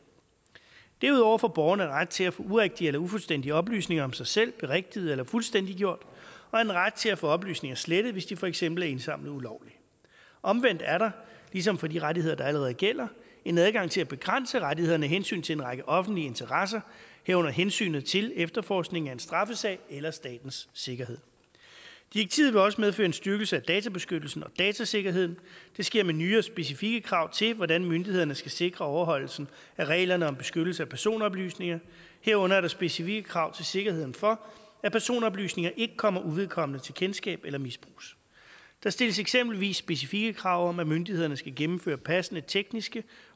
derudover får borgeren ret til at få urigtige eller ufuldstændige oplysninger om sig selv berigtiget eller fuldstændiggjort og en ret til at få oplysninger slettet hvis de for eksempel er indsamlet ulovligt omvendt er der ligesom for de rettigheder der allerede gælder en adgang til at begrænse rettighederne af hensyn til en række offentlige interesser herunder hensynet til efterforskningen af en straffesag eller statens sikkerhed direktivet vil også medføre en styrkelse af databeskyttelsen og datasikkerheden det sker med nye og specifikke krav til hvordan myndighederne skal sikre overholdelsen af reglerne om beskyttelse af personoplysninger herunder er der specifikke krav til sikkerheden for at personoplysninger ikke kommer uvedkommende til kendskab eller misbruges der stilles eksempelvis specifikke krav om at myndighederne skal gennemføre passende tekniske